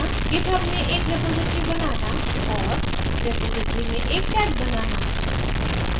* github में एक repository बनाना और * रेपॉज़िटरी में एक tag बनाना